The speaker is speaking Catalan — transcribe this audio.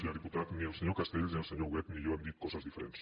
senyor diputat ni el se·nyor castells ni el senyor huguet ni jo hem dit coses diferents